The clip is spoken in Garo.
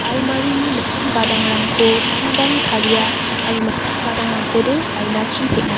almarini mitam gadangrangko bangbang taria aro mitam gadangrangkode ainachi peng·a.